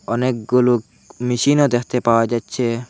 অনেকগুলোক মেশিনও দেখতে পাওয়া যাচ্ছে।